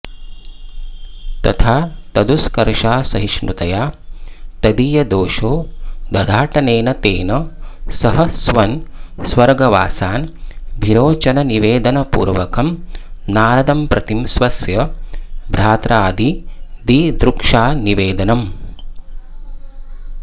तथा तदुस्कर्षासहिष्णुतया तदीयदोषो द्धाटनेन तेन सह स्वन स्वर्गवासानभिरोचननिवेदनपूर्वकं नारदंप्रति स्वस्य भ्रात्रादिदिदृक्षानिवेदनम्